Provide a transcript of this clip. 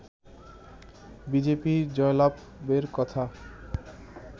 BJP জয়লাভের কথা